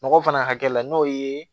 Nɔgɔ fana hakɛ la n'o ye